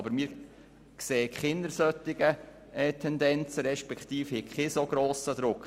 Doch wir sehen keine solchen Tendenzen und haben keinen solch grossen Druck.